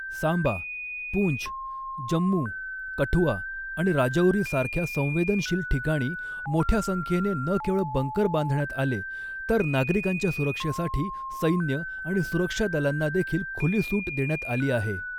सांबा, पूंछ, जम्मू, कठुआ आणि राजौरी सारख्या संवेदनशील ठिकाणी मोठ्या संख्येने न केवळ बंकर बांधण्यात आले तर नागरिकांच्या सुरक्षेसाठी सैन्य आणि सुरक्षा दलांना देखील खुली सूट देण्यात आली आहे.